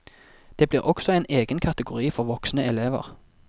Det blir også en egen kategori for voksne elever.